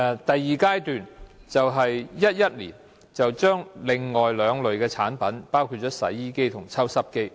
第二階段，是2011年，加入另外兩類產品，即洗衣機和抽濕機。